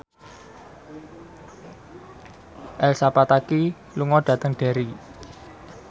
Elsa Pataky lunga dhateng Derry